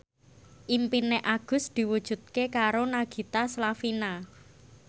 impine Agus diwujudke karo Nagita Slavina